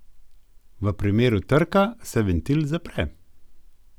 V primeru trka se ventil zapre.